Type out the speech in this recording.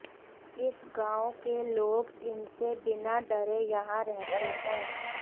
इस गांव के लोग इनसे बिना डरे यहां रहते हैं